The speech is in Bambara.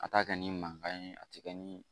A t'a kɛ ni mankan ye a tɛ kɛ ni